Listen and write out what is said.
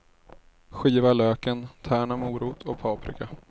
Skiva löken, tärna morot och paprika.